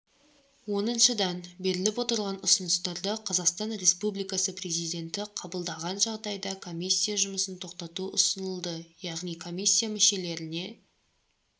оныншыдан беріліп отырған ұсыныстарды қазақстан республикасы президенті қабылдаған жағдайда комиссия жұмысын тоқтату ұсынылды яғни комиссия мүшелеріне